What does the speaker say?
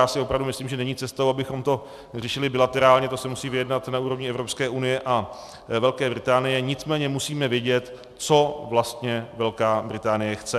Já si opravdu myslím, že není cestou, abychom to řešili bilaterálně, to se musí vyjednat na úrovni Evropské unie a Velké Británie, nicméně musíme vědět, co vlastně Velká Británie chce.